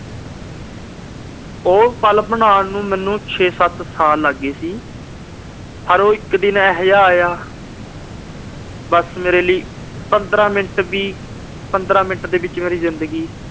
ਉਹ ਪਲ ਬਣਾਉਣ ਨੂੰ ਮੈਨੂੰ ਛੇ-ਸੱਤ ਸਾਲ ਲੱਗ ਗਏ ਸੀ। ਪਰ ਉਹ ਇੱਕ ਦਿਨ ਇਹੋ ਜਿਹਾ ਆਇਆ ਬੱਸ ਮੇਰੇ ਲਈ ਪੰਦਰਾਂ minute ਵੀ, ਪੰਦਰਾਂ minute ਦੇ ਵਿੱਚ ਮੇਰੀ ਜਿੰਦਗੀ